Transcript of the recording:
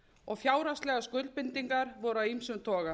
og fjárhagslegar skuldbindingar voru af ýmsum toga